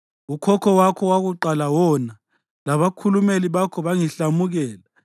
Ukhokho wakho wokuqala wona; labakhulumeli bakho bangihlamukela.